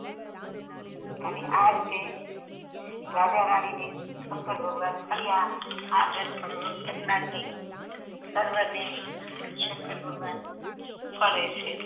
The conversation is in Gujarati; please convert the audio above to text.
અનેઆ રીતે રાજા રાની ને શંકર ભગવાન ફળીયા આ વ્રત કરનારને સર્વ ને શંકર ભગવાન ફળે છે.